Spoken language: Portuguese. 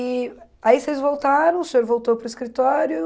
E aí vocês voltaram, o senhor voltou para o escritório.